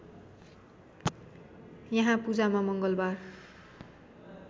यहाँ पूजामा मङ्गलबार